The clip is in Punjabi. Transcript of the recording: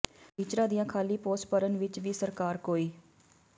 ਟੀਚਰਾਂ ਦੀਆਂ ਖ਼ਾਲੀ ਪੋਸਟਾਂ ਭਰਨ ਵਿਚ ਵੀ ਸਰਕਾਰ ਕੋਈ